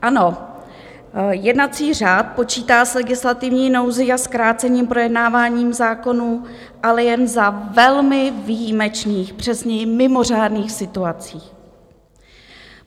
Ano, jednací řád počítá s legislativní nouzí a zkrácením projednávání zákonů, ale jen za velmi výjimečných, přesněji mimořádných, situací.